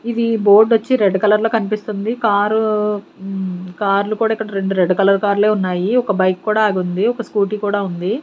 ఇది బోర్డ్ వొచ్చి red colour లో కన్పిస్తుంది కార్ మ్మ్ కార్లు కూడా రెండు రెడ్ కలర్ కార్లే ఉన్నాయి ఒక బైక్ కూడా ఆగుంది ఒక స్కూటీ కూడా ఉంది.